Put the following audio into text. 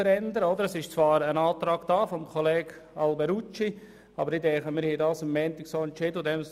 Zwar besteht ein Antrag von Grossrat Alberucci, aber wir haben am Montag entschieden.